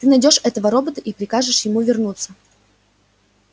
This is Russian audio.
ты найдёшь этого робота и прикажешь ему вернуться